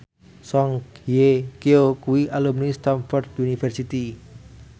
Song Hye Kyo kuwi alumni Stamford University